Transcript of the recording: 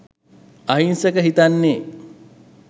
අහිංසක හිත්නේ